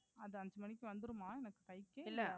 அது அஞ்சு மணிக்கு வந்திருமா எனக்கு கைக்கு?